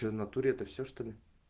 что в натуре это всё что ли